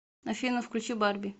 афина включи барби